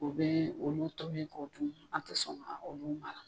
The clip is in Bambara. U bɛ olu tolen kɔ, an tɛ sɔn k'olu k'a la tun